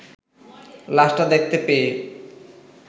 লাশটা দেখতে পেয়ে